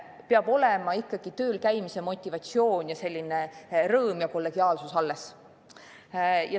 Peab olema ikkagi töölkäimise motivatsioon, selline rõõm ja kollegiaalsus.